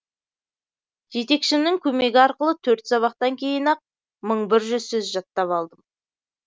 жетекшімнің көмегі арқылы төрт сабақтан кейін ақ мың бір жүз сөз жаттап алдым